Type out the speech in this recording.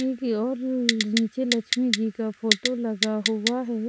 की और नीचे लक्ष्मी जी का फोटो लगा हुआ है।